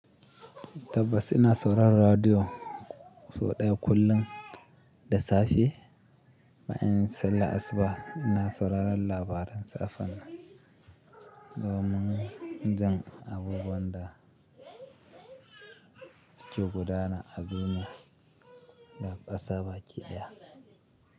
Tabbas ina sauraron radiyo sau ɗaya kullum da safe. Bayan anyi sallar asuba ina sauraron labaran safan domin in san abubuwan da suke gudana a duniya da ƙasa baki ɗaya.